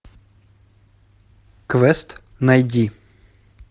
квест найди